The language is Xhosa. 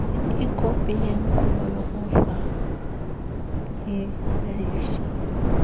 ikopi yenkqubo yokufayilisha